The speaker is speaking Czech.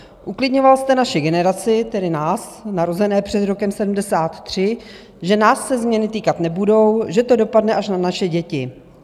Uklidňoval jste naši generaci, tedy nás narozené před rokem 1973, že nás se změny týkat nebudou, že to dopadne až na naše děti.